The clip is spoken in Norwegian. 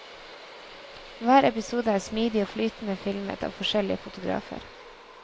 Hver episode er smidig og flytende filmet av forskjellige fotografer.